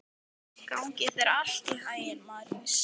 Gangi þér allt í haginn, Marías.